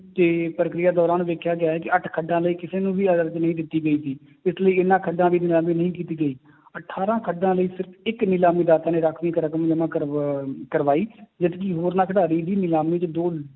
ਤੇ ਪ੍ਰਕਿਰਿਆ ਦੌਰਾਨ ਦੇਖਿਆ ਗਿਆ ਹੈ ਕਿ ਅੱਠ ਖੱਡਾਂ ਲਈ ਕਿਸੇ ਨੂੰ ਵੀ ਨਹੀਂ ਦਿੱਤੀ ਗਈ ਸੀ, ਇਸ ਲਈ ਇਹਨਾਂ ਖੱਡਾਂ ਦੀ ਨਿਲਾਮੀ ਨਹੀਂ ਕੀਤੀ ਗਈ ਅਠਾਰਾਂ ਖੱਡਾਂ ਲਈ ਸਿਰਫ਼ ਇੱਕ ਨਿਲਾਮੀ ਰਾਖਵੀਂ ਇੱਕ ਰਕਮ ਜਮਾ ਕਰਵਾ~ ਕਰਵਾਈ ਜਦਕਿ ਹੋਰਨਾਂ ਖਿਡਾਰੀ ਵੀ ਨਿਲਾਮੀ 'ਚ ਦੋ